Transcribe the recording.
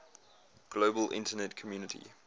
global internet community